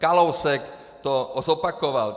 Kalousek to zopakoval.